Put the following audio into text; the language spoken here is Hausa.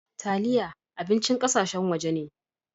Taliyah abincin ƙasashen waje ne.